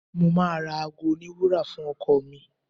Mo máa ra aago oníwúrà fún ọkọ ọ̀ mi.